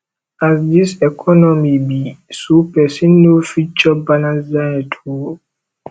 as dis economy be so pesin no fit chop balanced diet o